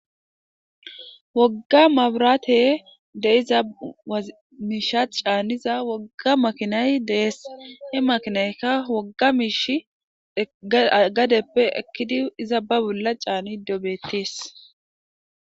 Wogga mabraate de izamiishat caaniza wogga makinay deess he makinaykka wogga miish gadeppe ekkidi izababula caani dobettees.